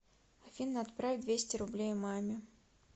афина отправь двести рублей маме